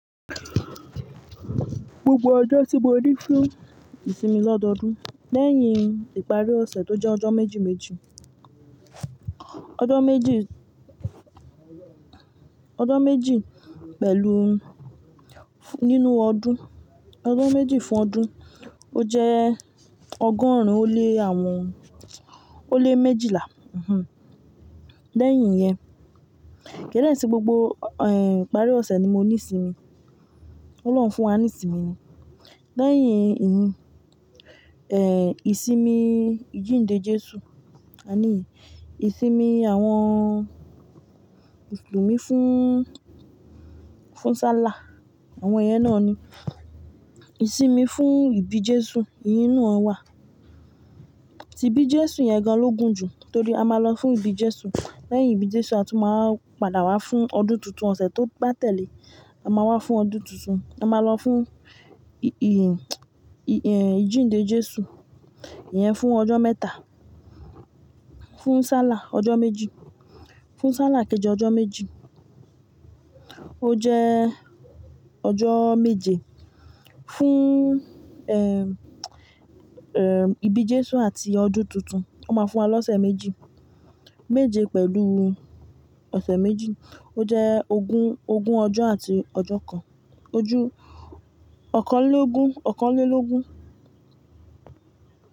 Gbogbo ọjọ́ tí mo ní fún ìsinmi lọ́dọọdún lẹ́yìn ìparí ọ̀sẹ̀ tó jẹ́ ọjọ́ méjì méjì. Ọjọ́ méjì, ọjọ́ méjì pẹ̀lú nínú ọdún, ọjọ́ méjì fún ọdún ó jẹ́ ọgọ́rùn-ún ó lé àwọn ó lé méjìlá. Lẹ́yìn yẹn, kín de se gbogbo ìparí ọ̀sẹ̀ ni mo ní sinmi. Ọlọ́run fún wa ní sinmi ni. Lẹ́yìn ìyí, ìsinmi ìjìnde Jésù, àní yen, ìsinmi àwọn musulumi fún, fún sálà, àwọn yẹn náà ni. Ìsinmi fún ìbí Jésù iyen naa wà. Tí bí Jésù yẹn gan ló gùn jù torí a máa lọ fún ìbí Jésù. Lẹ́yìn ìbí Jésù a tún máa padà wá fún ọdún tuntun. Ọ̀sẹ̀ tó bá tẹ̀lé, a máa wá fún ọdún tuntun. A máa lọ fún ì-ìjìnde Jésù yẹn fún ọjọ́ mẹ́ta. Fún sálà ọjọ́ méjì, fún sálà kejì ọjọ́ méjì. Ó jẹ́ ọjọ́ méje. Fún ìbí Jésù àti ọdún tuntun, ó máa fún wa lọ́sẹ̀ méjì, méje pẹ̀lú ọ̀sẹ̀ méjì. Ó jẹ́ ogún, ogún ọjọ́ àti ọjọ́ kan. Ojú ọ̀kanlélógún, ọ̀kanlélógún.